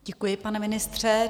Děkuji, pane ministře.